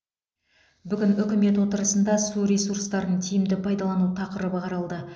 бүгін үкімет отырысында су ресурстарын тиімді пайдалану тақырыбы қаралды